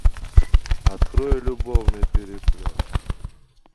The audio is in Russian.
открой любовный переплет